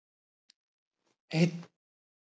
Einn tíma.